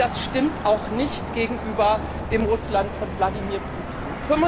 Und das stimmt auch nicht gegenüber dem Russland von Wladimir Putin.